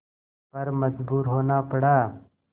पर मजबूर होना पड़ा